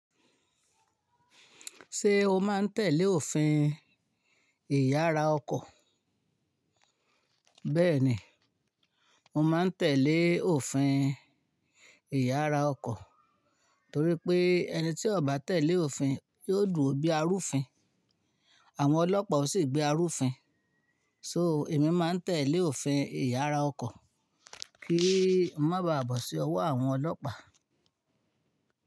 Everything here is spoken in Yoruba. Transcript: Ṣé o máa ń tẹ̀lé òfin ẹ̀yà ara ọkọ̀? Bẹ́ẹ̀ni, mo máa ń tẹ̀lé òfin ẹ̀yà ara ọkọ̀ torí pé ẹni tí ò bá tẹ̀lé òfin yóò dùo bí arúfin, àwọn ọlọ́pàá ó sì gbé arúfin. So èmi máa ń tẹ̀lé òfin ẹ̀yà ara ọkọ̀ kí n má baà bọ̀ sí ọwọ́ àwọn ọlọ́pàá.